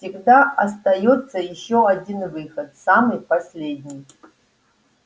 всегда остаётся ещё один выход самый последний